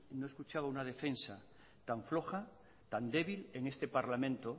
no escuchaba una defensa tan floja tan débil en este parlamento